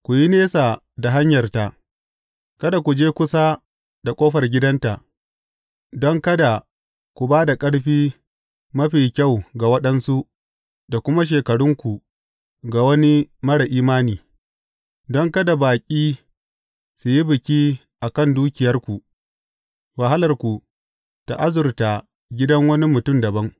Ku yi nesa da hanyarta, kana ku je kusa da ƙofar gidanta, don kada ku ba da ƙarfi mafi kyau ga waɗansu da kuma shekarunku ga wani marar imani, don kada baƙi su yi biki a kan dukiyarku wahalarku ta azurta gidan wani mutum dabam.